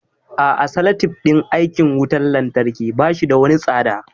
A'a salatif din aikin wutan lantarki bashi da wani tsada